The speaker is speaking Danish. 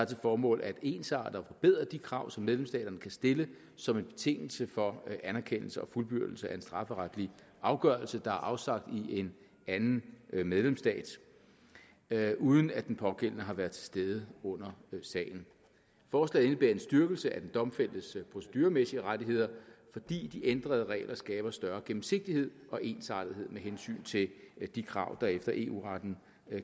til formål at ensarte og forbedre de krav som medlemsstaterne kan stille som en betingelse for anerkendelse og fuldbyrdelse af en strafferetlig afgørelse der er afsagt i en anden medlemsstat uden at den pågældende har været til stede under sagen forslaget indebærer en styrkelse af den domfældtes proceduremæssige rettigheder fordi de ændrede regler skabe større gennemsigtighed og ensartethed med hensyn til de krav der efter eu retten